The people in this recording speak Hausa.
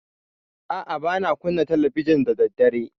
A'a, ba na kunna talabijin da daddare.